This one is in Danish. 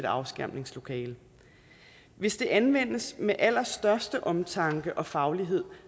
afskærmningslokale hvis det anvendes med den allerstørste omtanke og faglighed